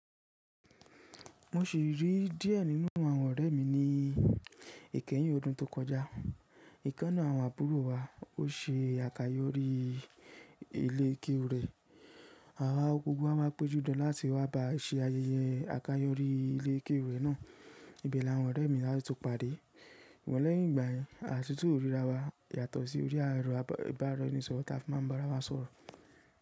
Mo sì rí díẹ̀ nínú àwọn ọ̀rẹ́ mi ní ìkẹyìn ọdún tó kọjá. Ìkanná àwọn àbúrò wa ó ṣe àkáyọrí ilé kéwú rẹ̀. Gbogbo wa máa péjú dan láti wá ba ṣe ayẹyẹ àkáyọrí ilé kéwú rẹ̀ náà. Ibẹ̀ la wọn ọ̀rẹ́ mi latún ti pá dé. Sùgbón lẹ́yìn ìgbà yẹn, a sì tún ríra wa yàtọ̀ sí orí ẹ̀ro ìbáraẹnisọ̀rọ̀ tí a fi máa ń bá ara wa sọ̀rọ̀.